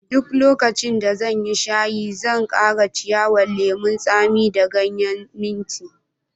Duk lokacin da zan yi shayi, zan kara ciyawan lemun tsami da ganyen minti.